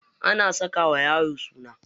Ana saka wa yaro suna.